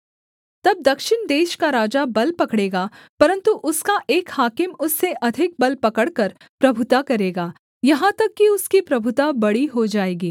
तब दक्षिण देश का राजा बल पकड़ेगा परन्तु उसका एक हाकिम उससे अधिक बल पकड़कर प्रभुता करेगा यहाँ तक कि उसकी प्रभुता बड़ी हो जाएगी